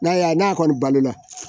N'a y'a n'a kɔni balola